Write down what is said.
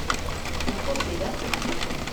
Lahko sedem?